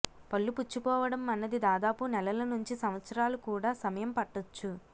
పళ్లు పుచ్చిపోవడం అన్నది దాదాపు నెలల నుంచి సంవత్సరాలు కూడా సమయం పట్టొచ్చు